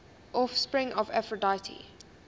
offspring of aphrodite